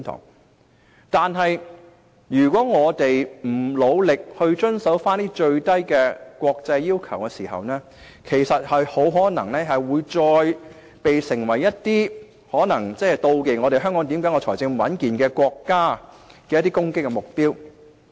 不過，如果我們不努力遵守最低的國際要求，很可能會再次成為一些妒忌香港財政穩健的國家的攻擊目標。